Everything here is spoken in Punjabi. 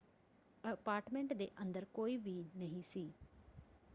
ਅਪਾਰਟਮੈਂਟ ਦੇ ਅੰਦਰ ਕੋਈ ਵੀ ਨਹੀਂ ਸੀ।